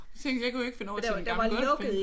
Tænkte jeg kunne ikke finde over til den gamle Godsbane